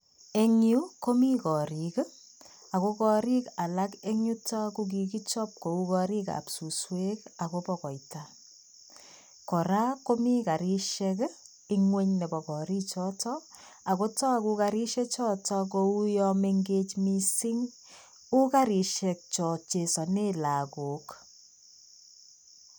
Eng'yu komii koorik ako koorik alak eng'yuto ko kikichob kouu korikab suswek akobo koita. Kora komii karishek ngwony nebo kariichoto. Ako tagu karishe choto kouya mengej mising u karishek cha chesane lagook.